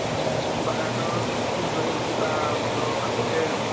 বাগানৰ কিবা ঘৰৰ কাষতে